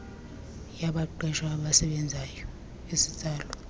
yabaqeshwa abasebenzayo iyatsalwa